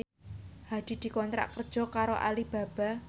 Hadi dikontrak kerja karo Alibaba